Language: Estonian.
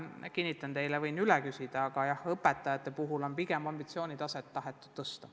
Ma võin üle küsida, aga kinnitan teile, et õpetajate puhul on pigem ambitsioonitaset tahetud tõsta.